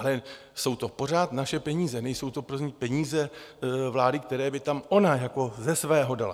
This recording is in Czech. Ale jsou to pořád naše peníze, nejsou to peníze vlády, které by tam ona jako ze svého dala.